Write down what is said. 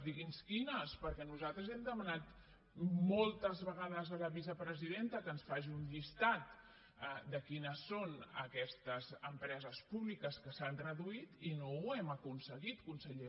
digui’ns quines perquè nosaltres hem demanat moltes vegades a la vicepresidenta que ens faci un llistat de quines són aquestes empreses públiques que s’han reduït i no ho hem aconseguit conseller